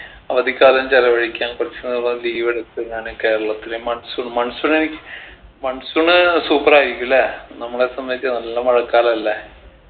അവധിക്കാലം ചെലവഴിക്കാൻ കുറച്ച് നാള് leave എടുത്ത് ഞാൻ കേരളത്തിലെ monsoon monsoon എനി monsoon ഏർ super ആയിരിക്കു അല്ലേ നമ്മളെ സംബന്ധിച്ച് നല്ല മഴക്കാലല്ലേ